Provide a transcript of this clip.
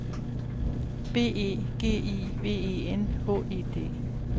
B E G I V E N H E D